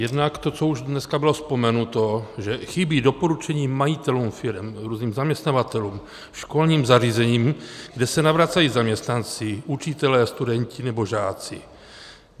Jednak to, co už dneska bylo vzpomenuto, že chybí doporučení majitelům firem, různým zaměstnavatelům, školním zařízením, kde se navracejí zaměstnanci, učitelé, studenti nebo žáci.